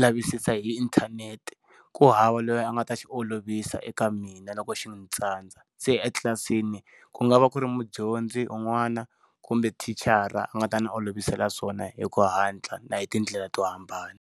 lavisisa hi inthanete ku hava loyi a nga ta xi olovisa eka mina loko xi ndzi tsandza, se etlilasini ku nga va ku ri mudyondzi un'wana kumbe mathicara a nga ta ndzi olovisela swona hi ku hatla na hi tindlela to hambana.